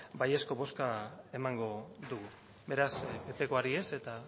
baiezko bozka emango dugu beraz ppkoari ez eta